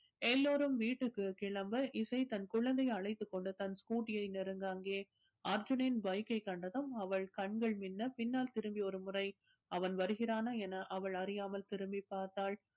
எல்லோரும் வீட்டிற்கு கிளம்ப இசை தன் குழந்தையை அழைத்துக் கொண்டு தன் ஸ்கூட்டியை நெருங்க அங்கே அர்ஜுனன் byk ஐ கண்டதும் அவள் கண்கள் மின்ன பின்னால் திரும்பி ஒரு முறை அவன் வருகிறானா என அவள் அறியாமல் திரும்பி பார்த்தாள்